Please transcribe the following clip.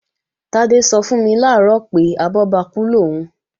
Tádé sọ fún mi làárọ̀ pé, abọ́bakú lòún